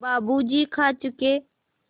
बाबू जी खा चुके